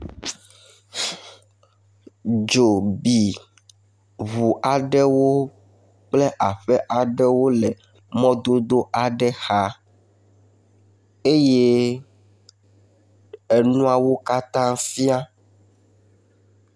Dzo bi ŋu aɖewo kple aƒe aɖewo le mɔdodo aɖe xa, eye enuawo katã fia